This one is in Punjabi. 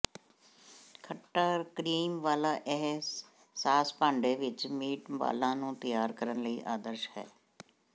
ਖੱਟਾ ਕਰੀਮ ਵਾਲਾ ਇਹ ਸਾਸ ਭਾਂਡੇ ਵਿੱਚ ਮੀਟਬਾਲਾਂ ਨੂੰ ਤਿਆਰ ਕਰਨ ਲਈ ਆਦਰਸ਼ ਹੈ